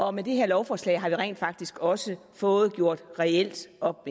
og med det her lovforslag har vi rent faktisk også fået gjort reelt op